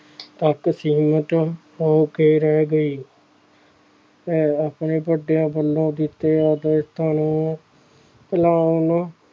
ਤੱਕ ਸੀਮਿਤ ਹੋ ਕੇ ਰਹਿ ਗਈ ਹੈ ਆਪਣੇ ਵੱਡਿਆਂ ਵੱਲੋਂ ਦਿੱਤੇ ਆਦਰਸ਼ਾਂ ਨੂੰ ਭੁਲਾਉਣ